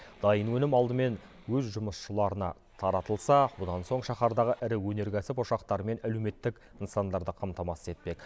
дайын өнім алдымен өз жұмысшыларына таратылса одан соң шаһардағы ірі өнеркәсіп ошақтары мен әлеуметтік нысандарды қамтамасыз етпек